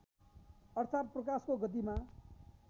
अर्थात् प्रकाशको गतिमा